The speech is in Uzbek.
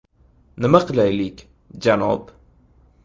Nima qilaylik, janob?